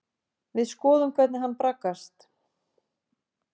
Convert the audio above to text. Við skoðum hvernig hann braggast.